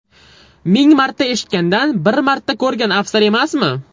Ming marta eshitgandan, bir marta ko‘rgan afzal emasmi?!